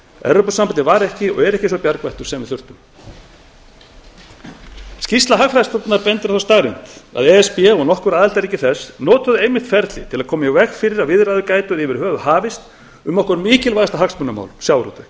evrópusambandið var ekki og er ekki sá bjargvættur sem við þurftum í skýrslu hagfræðistofnunar er bent á þá staðreynd að e s b og nokkur aðildarríki þess hafi einmitt notað ferlið til að koma í veg fyrir að viðræður gætu yfir höfuð hafist um okkar mikilvægasta hagsmunamál sjávarútveginn